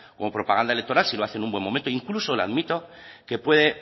como propaganda electoral si lo hace en un buen momento incluso le admito que pueda